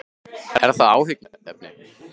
Er það áhyggjuefni?